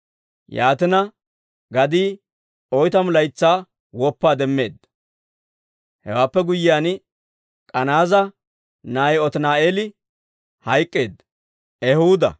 Yaatina, gadii oytamu laytsaa woppaa demmeedda. Hewaappe guyyiyaan, K'anaaza na'ay Otini'eeli hayk'k'eedda.